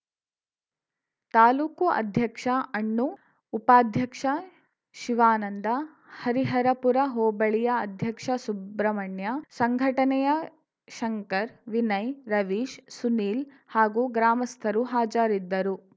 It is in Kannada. ತಾಲೂಕು ಅಧ್ಯಕ್ಷ ಅಣ್ಣು ಉಪಾಧ್ಯಕ್ಷ ಶಿವಾನಂದ ಹರಿಹರಪುರ ಹೋಬಳಿಯ ಅಧ್ಯಕ್ಷ ಸುಬ್ರಹ್ಮಣ್ಯ ಸಂಘಟನೆಯ ಶಂಕರ್‌ ವಿನಯ್‌ ರವೀಶ್‌ ಸುನೀಲ್‌ ಹಾಗೂ ಗ್ರಾಮಸ್ಥರು ಹಾಜರಿದ್ದರು